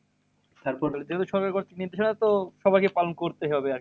যেহেতু সরকার কর্তৃক নির্দেশনা তো সবাইকে পালন করতেই হবে আরকি।